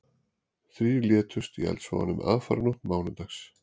Þrír létust í eldsvoðanum aðfararnótt mánudags